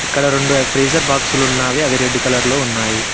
ఇక్కడ రెండు ఫ్రీజర్ బాక్సులు ఉన్నవి రెడ్ కలర్లో ఉన్నాయి.